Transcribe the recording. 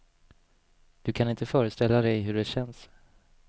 Du kan inte föreställa dig hur det känns.